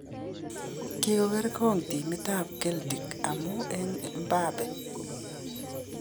Kokigergon timit ab Celtic amun en Mbappe